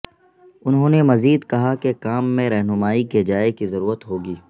انہوں نے مزید کہا کہ کام میں رہنمائی کی جائے کی ضرورت ہو گی